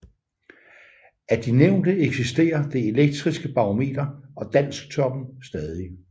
Af de nævnte eksisterer Det elektriske Barometer og Dansktoppen stadig